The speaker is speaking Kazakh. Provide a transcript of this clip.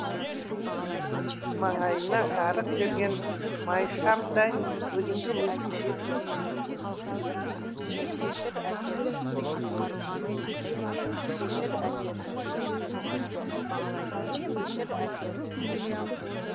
маңайына жарық берген май шамдай өзімді өзім жеп біттім